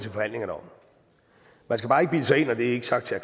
skal bare ikke bilde sig ind og det er ikke sagt til